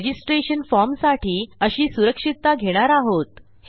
registration फॉर्मसाठी अशी सुरक्षितता घेणार आहोत